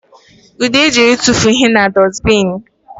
Ude jere ịtụfuo ihe na dusibini